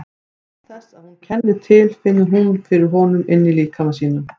Og án þess að hún kenni til finnur hún fyrir honum inní líkama sínum.